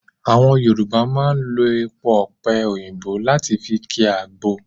Àwọn Yorùbá máa ń lo èpo ọ̀pe òyìnbó láti fi ki agbo